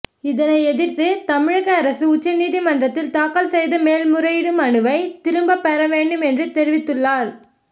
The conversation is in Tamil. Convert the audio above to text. இதனை எதிர்த்து தமிழக அரசு உச்சநீதிமன்றத்தில் தாக்கல் செய்த மேல்முறையீடு மனுவை திரும்ப பெறவேண்டும் என்றும் தெரிவித்துள்ளார்